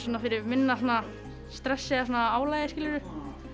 fyrir minna stressi eða svona álagi skilurðu